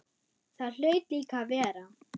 Það hlaut líka að vera.